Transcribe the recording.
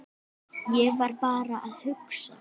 Ég var bara að hugsa.